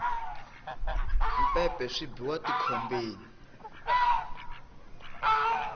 mpepe swi biwa ti khombeni